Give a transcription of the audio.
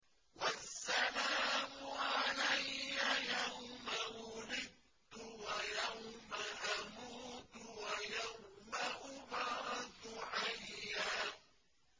وَالسَّلَامُ عَلَيَّ يَوْمَ وُلِدتُّ وَيَوْمَ أَمُوتُ وَيَوْمَ أُبْعَثُ حَيًّا